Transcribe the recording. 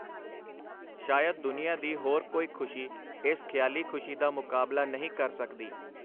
ਸ਼ਾਇਦ ਦੁਨੀਆਂ ਦੀ ਹੋਰ ਕੋਈ ਖੁਸ਼ੀ ਏਸ ਖਿਆਲੀ ਖੁਸ਼ੀ ਦਾ ਮੁਕਾਬਲਾ ਨਹੀਂ ਕਰ ਸਕਦੀ.